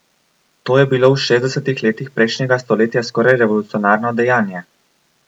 To je bilo v šestdesetih letih prejšnjega stoletja skoraj revolucionarno dejanje!